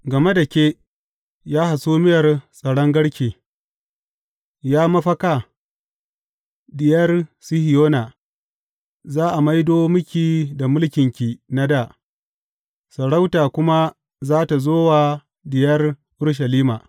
Game da ke, ya hasumiyar tsaron garke, Ya mafaka Diyar Sihiyona, za a maido miki da mulkinki na dā, sarauta kuma za tă zo wa Diyar Urushalima.